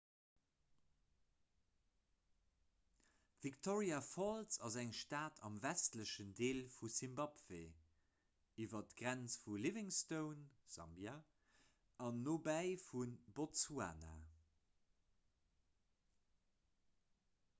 victoria falls ass eng stad am westlechen deel vu simbabwe iwwer d'grenz vu livingstone sambia an nobäi vu botsuana